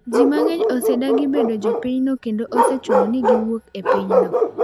Ji mang’eny osedagi bedo jopinyno kendo osechuno ni giwuok e pinyno.